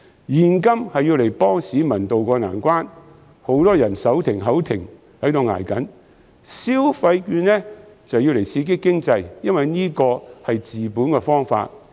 現金是用來幫助市民渡過難關的，因為很多人手停口停，一直在"捱"；消費券則是用來刺激經濟，因為這是治本的方法。